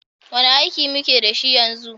Wane aiki muke da shi yanzu?